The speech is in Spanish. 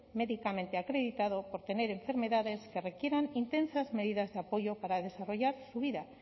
medicamente acreditado por tener enfermedades que requieran intensas medidas de apoyo para desarrollar su vida